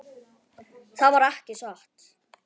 Það var ekki satt.